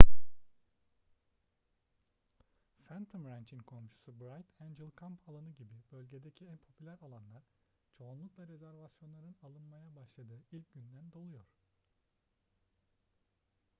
phantom ranch'in komşusu bright angel kamp alanı gibi bölgedeki en popüler alanlar çoğunlukla rezervasyonların alınmaya başladığı ilk günden doluyor